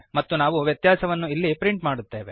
ಮತ್ತು ನಾವು ವ್ಯತ್ಯಾಸವನ್ನು ಇಲ್ಲಿ ಪ್ರಿಂಟ್ ಮಾಡುತ್ತೇವೆ